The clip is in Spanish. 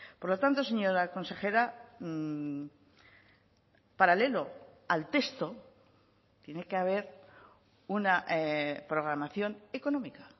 por lo tanto señora consejera paralelo al texto tiene que haber una programación económica